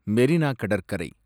மெரினா கடற்கரை